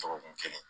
Dɔgɔkun kelen